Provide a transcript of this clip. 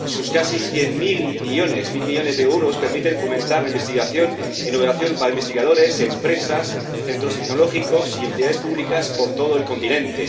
Sus casi cien mil millones de euros permiten fomentar la investigación e innovación para investigadores, empresas, centros tecnológicos y entidades públicas por todo el continente.